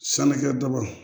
Sanukɛ ba